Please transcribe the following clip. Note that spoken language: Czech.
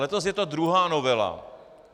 Letos je to druhá novela.